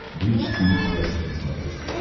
бридж тиви классик на смотрешке